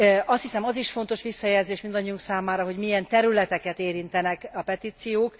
Azt hiszem, az is fontos visszajelzés mindannyiunk számára, hogy milyen területeket érintenek a petíciók.